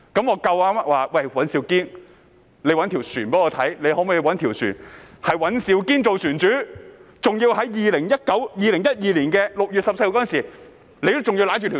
我想叫尹兆堅議員找一艘船，是由他做船主的，還要在2012年6月14日時已經擁有這艘船。